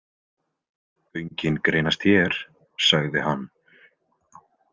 Göngin greinast hér, sagði hann.